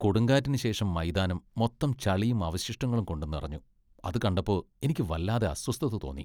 കൊടുങ്കാറ്റിനുശേഷം മൈതാനം മൊത്തം ചളിയും അവശിഷ്ടങ്ങളും കൊണ്ട് നിറഞ്ഞു അത് കണ്ടപ്പോ എനിക്ക് വല്ലാതെ അസ്വസ്ഥത തോന്നി .